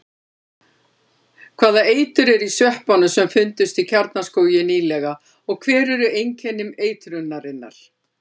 Hvaða eitur er í sveppunum sem fundust í Kjarnaskógi nýlega og hver eru einkenni eitrunarinnar?